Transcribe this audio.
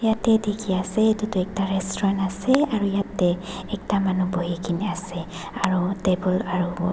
yatae dikhiase edu tu ekta restaurant ase aru yatae ekta manu buhikaena ase aro table aru.